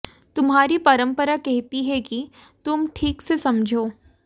तुम्हारी परंपरा कहती है कि तुम ठीक से समझो